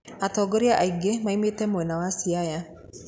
Atongoria aingĩ maumĩte mwena wa Siaya.